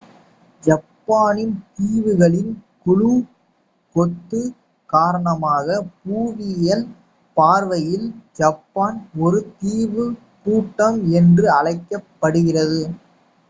ஜப்பானின் தீவுகளின் குழு / கொத்து காரணமாக புவியியல் பார்வையில் ஜப்பான் ஒரு தீவுக் கூட்டம் என்று அழைக்கப் படுகிறது